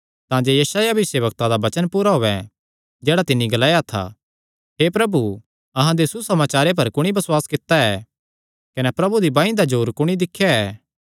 तांजे यशायाह भविष्यवक्ता दा वचन पूरा होयैं जेह्ड़ा तिन्नी ग्लाया हे प्रभु अहां दे सुसमाचारे पर कुणी बसुआस कित्ता ऐ कने प्रभु दी बांई दा जोर कुणी दिख्या ऐ